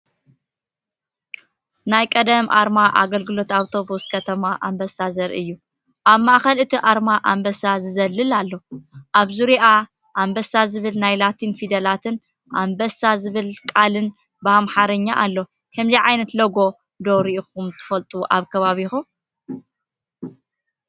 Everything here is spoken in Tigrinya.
ናይ ቀደም ኣርማ ኣገልግሎት ኣውቶቡስ ከተማ ኣንበሳ ዘርኢ እዩ። ኣብ ማእከል እቲ ኣርማ ኣንበሳ ዝዘልል ኣሎ። ኣብ ዙርያኣ "ኣንበሳ" ዝብል ናይ ላቲን ፊደላትን "ኣንበሳ" ዝብል ቃልን ብኣምሓርኛ ኣሎ። ከምዚ ዓይነት ሎጎ ዶ ሪኢኻ ትፈልጥ ኣብ ከባቢኻ?